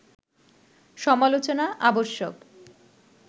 সমালোচনা আবশ্যক